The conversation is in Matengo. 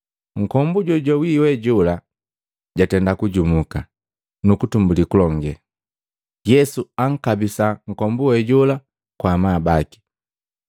Nkombu jojawi we jola jatenda kujumuka, nukutumbuli kulonge. Yesu ankabisa nkombu we jola kwa amabaki.